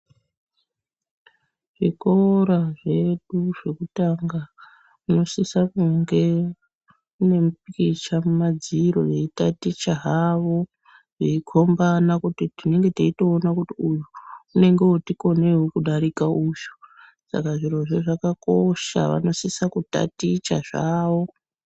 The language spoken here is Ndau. Zvikora zvedu zvekutanga munosisa kunge mune mupikicha mumadziro veitaticha hawo Veikombana kuti tinenge teitoona kuti uyu unenge woti koneiwo kudarika uyu saka zvirozvo zvakakosha vanosise kutaticha zvawo.